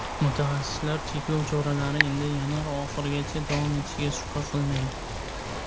Mutaxassislar cheklov choralari endi yanvar oxirigacha davom etishiga shubha qilmaydi.